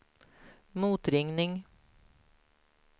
motringning